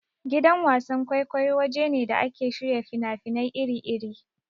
Gidan wasan-kwaikwayo waje ne da ake shirya fina-finai iri-iri.